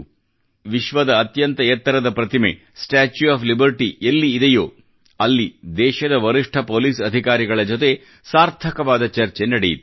ಎಲ್ಲಿ ವಿಶ್ವದ ಅತ್ಯಂತ ಎತ್ತರದ ಪ್ರತಿಮೆ ಸ್ಟಾಚ್ಯೂ ಒಎಫ್ ಲಿಬರ್ಟಿ ಎಲ್ಲಿ ಇದೆಯೋ ಅಲ್ಲಿ ದೇಶದ ವರಿಷ್ಠ ಪೋಲಿಸ್ ಅಧಿಕಾರಿಗಳ ಜೊತೆ ಸಾರ್ಥಕವಾದ ಚರ್ಚೆ ನಡೆಯಿತು